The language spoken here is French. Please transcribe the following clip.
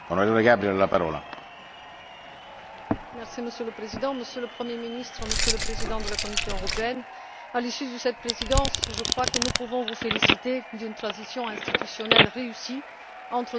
Monsieur le Président, Monsieur le Premier ministre, Monsieur le Président de la Commission européenne, à l'issue de cette Présidence, je crois que nous pouvons vous féliciter d'une transition institutionnelle réussie entre deux Commissions d'une envergure démocratique différente.